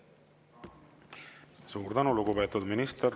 Suur tänu, lugupeetud minister!